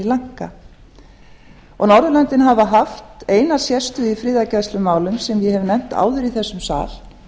sri lanka norðurlöndin hafa haft eina sérstöðu í friðargæslumálum sem ég hef nefnt áður í þessum sal